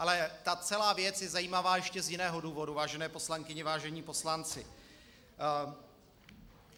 Ale ta celá věc je zajímavá ještě z jiného důvodu, vážené poslankyně, vážení poslanci.